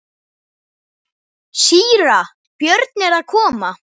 Síra Björn er að koma!